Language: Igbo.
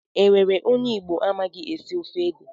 Enwere onye Igbo amaghị esi ofe ede?